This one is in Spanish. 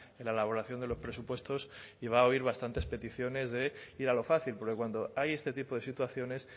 en la elaboración de los presupuestos y va a oír bastantes peticiones de ir a lo fácil porque cuando hay este tipo de situaciones